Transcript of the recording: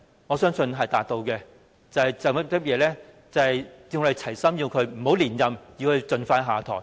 我相信是達到了，因為我們"齊心"要求他不要連任，盡快下台。